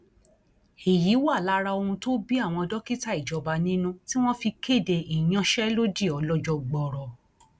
èyí wà lára ohun tó bí àwọn dókítà ìjọba nínú tí wọn fi kéde ìyanṣẹlódì ọlọjọ gbọọrọ